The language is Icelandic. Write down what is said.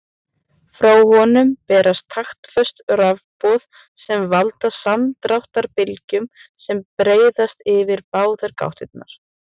Frá honum berast taktföst rafboð sem valda samdráttarbylgjum sem breiðast yfir báðar gáttirnar.